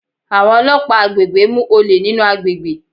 Àwọn ọlọ́pàá àgbègbè mú olè nínú àgbègbè.